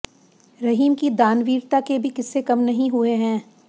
रहीम की दानवीरता के भी क़िस्से कम नहीं हुए हैं